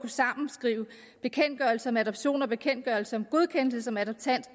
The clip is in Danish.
at sammenskrive bekendtgørelsen om adoption og bekendtgørelsen om godkendelse som adoptant